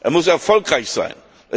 Er muss erfolgreich sein.